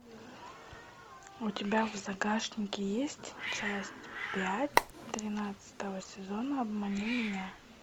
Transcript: у тебя в загашнике есть часть пять тринадцатого сезона обмани меня